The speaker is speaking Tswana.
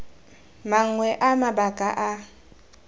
mangwe a mabaka a a